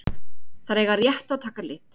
Þær eiga rétt að taka lit.